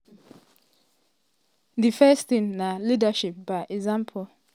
"di first tin na leadership by example.